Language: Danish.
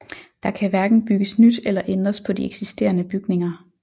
Der kan hverken bygges nyt eller ændres på de eksisterende bygninger